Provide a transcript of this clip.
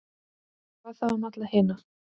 Hvað þá um alla hina?